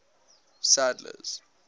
sadler's